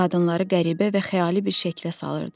Bu da qadınları qəribə və xəyali bir şəklə salırdı.